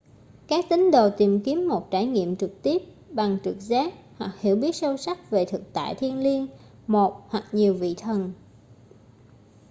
các tín đồ tìm kiếm một trải nghiệm trực tiếp bằng trực giác hoặc hiểu biết sâu sắc về thực tại thiêng liêng/một hoặc nhiều vị thần